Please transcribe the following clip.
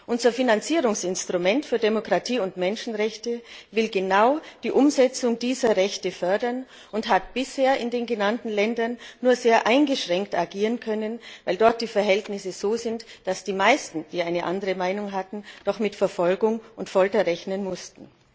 Unser Finanzierungsinstrument für Demokratie und Menschenrechte will genau die Umsetzung dieser Rechte fördern und hat bisher in den genannten Ländern nur sehr eingeschränkt agieren können, weil dort die Verhältnisse so sind, dass die meisten, die eine andere Meinung hatten, doch mit Verfolgung und Folter rechnen mussten.